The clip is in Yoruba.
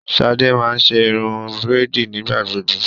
Shade má n ṣe irun braidi nigbagbogbo